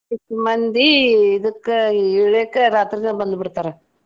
ಮಂದಿ ಇದಕ್ಕ ಇಳೆಕ ರಾತ್ರಿನ ಬಂದ್ ಬಿಡ್ತಾರ.